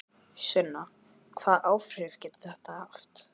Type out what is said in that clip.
Sunna: Hvaða áhrif getur þetta haft?